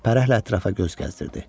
Fərəhlə ətrafa göz gəzdirdi.